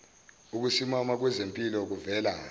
ukusimama kwezimpilo kuvela